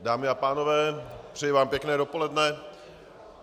Dámy a pánové, přeji vám pěkné dopoledne.